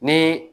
Ni